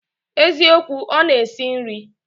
Eziokwu, Ona esi nri